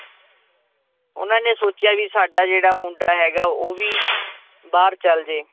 ਉਹਨਾਂ ਨੇ ਸੋਚਿਆ ਵੀ ਸਾਡਾ ਜਿਹੜਾ ਮੁੰਡਾ ਹੈਗਾ ਉਹ ਵੀ ਬਾਹਰ ਚਲੇ ਜਏ